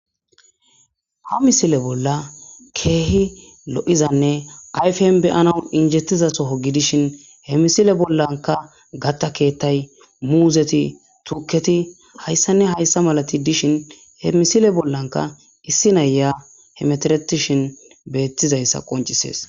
ha misile bolla keehi lo7izanne ayfen beyanau injettiza soho gidishin he misile bollanka gattakeettay muuzeti tuuketi hayssanne hayssa malati dishin he misile bollanka issi naya hemeteretishin beettizayssa qoncisees